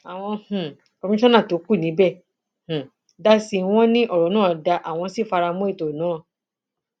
àwọn um kọmíṣánná tó kù níbẹ um dá sí i wọn ní ọrọ náà dáa àwọn sì fara mọ ètò náà